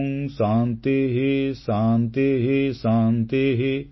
ଓଁ ଶାନ୍ତିଃ ଶାନ୍ତିଃ ଶାନ୍ତିଃ